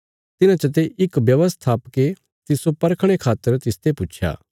तिन्हां चते इक व्यवस्थापके तिस्सो परखणे खातर तिसते पुच्छया